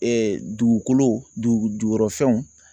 dugukolo dugu jukɔrɔfɛnw